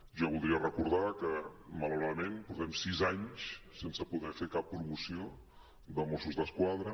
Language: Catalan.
jo voldria recordar que malauradament portem sis anys sense poder fer cap promoció de mossos d’esquadra